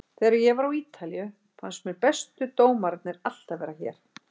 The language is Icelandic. Þegar ég var á Ítalíu fannst mér bestu dómararnir alltaf vera hér.